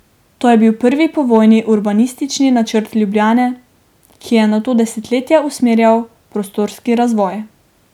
To je bil prvi povojni urbanistični načrt Ljubljane, ki je nato desetletja usmerjal prostorski razvoj.